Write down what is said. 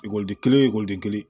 Ekɔliden kelen oden kelen